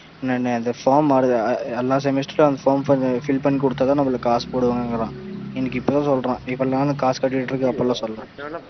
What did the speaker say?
நான் அந்த form எல்லா semester ளையும் அந்த form fill பண்ணி கொடுத்தா தான் நமக்கு காசு போடுவாங்க அப்படிங்கிறான் எனக்கு இப்ப தான் சொல்றான் இவ்வளவு நாள் காசு கட்டிக்கிட்டு இருக்கன் அப்பலாம் சொல்லல,